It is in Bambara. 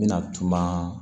N bɛna tuma